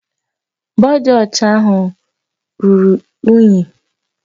Bọdụ ọcha ahụ ruru unyi